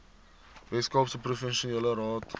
weskaapse provinsiale raad